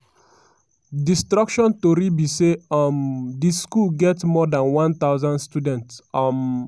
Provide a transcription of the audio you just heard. destruction tori be say um di school get more dan one thousand students. um